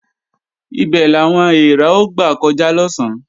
Ibè làwọn èèrà ó gbà kọjá lọ̀sán